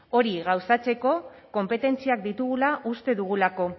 hori gauzatzeko konpetentziak ditugula uste dugulako